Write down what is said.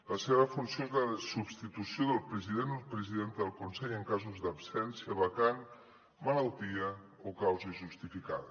la seva funció és la de substitució del president o presidenta del consell en casos d’absència vacant malaltia o causa justificada